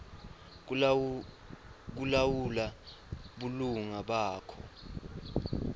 kulawula bulunga bakho